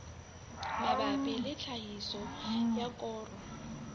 mabapi le tlhahiso ya koro